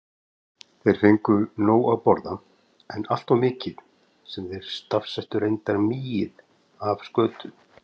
Þeir fengju nóg að borða, en alltof mikið- sem þeir stafsettu reyndar migið- af skötu.